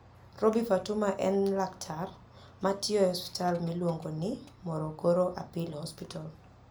Roby Fatuma eni laktar ma tiyo e osiptal miluonigo nii Morogoro Appeal Hospital.